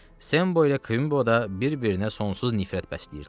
Sembo ilə Kvinbo da bir-birinə sonsuz nifrət bəsləyirdilər.